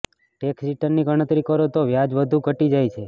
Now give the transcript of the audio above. tax રિટર્નની ગણતરી કરો તો વ્યાજ વધુ ઘટી જાય છે